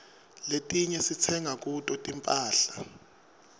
letinye sitsenga kuto tinphahla